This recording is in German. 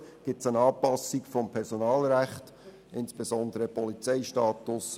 Schliesslich begrüsst die FDP auch die Anpassung des Polizeirechts, insbesondere des Polizeistatus.